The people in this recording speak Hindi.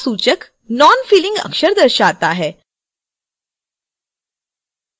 दूसरा सूचक नॉनफिलिंग अक्षर दर्शाता है